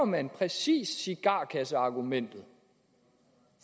man præcis cigarkasseargumentet